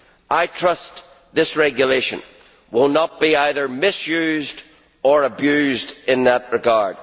I trust this regulation will not be either misused or abused in that regard.